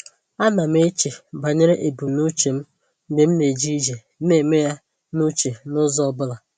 A na m eche banyere ebumnuche m mgbe m na-eje ije, na-eme ya n’uche n’ụzọ ọ bụla.